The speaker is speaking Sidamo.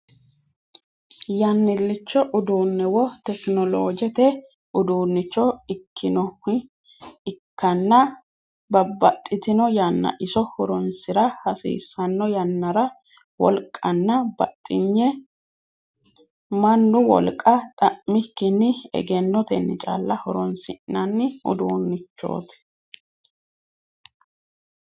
Yannilicho uduunne wo tekinoloojete uduunnicho ikkinoh ikkanna babbaxitino yanna iso horoonsira hasiissanno yannara wolqanna baxinye mannu wolqà xa'mikkinni egennotenni calla horoonsi'nanni uduunnichooti.